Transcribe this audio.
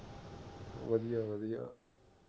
ਵਧੀਆ ਵਧੀਆ